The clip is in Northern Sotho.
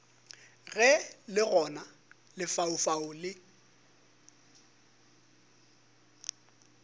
ge le gona lefaufau le